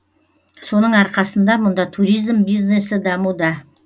соның арқасында мұнда туризм бизнесі дамуда